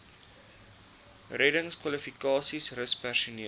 reddingskwalifikasies rus personeel